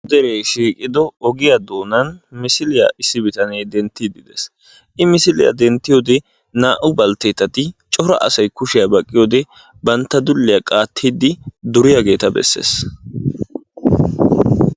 dere shiiqido ogiyaa doonan misiliya issi bitanee denttiide de'ees. I misiliyaa denttiyoode naa''u balttetati cora asay kushiyaa baqqiyoode dulliya qaatiidi duriyaageeta bessees.